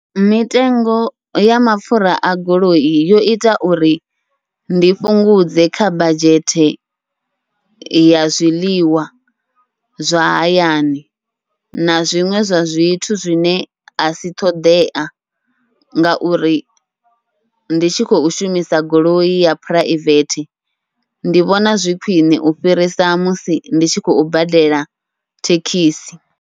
Mitengo ya mapfhura a goloi, yo ita uri ndi fhungudze kha badzhete ya zwiḽiwa zwa hayani na zwiṅwe zwa zwithu zwine asi ṱhoḓea, ngauri ndi tshi khou shumisa goloi ya phuraivethe ndi vhona zwi khwiṋe u fhirisa musi ndi tshi khou badela thekhisi.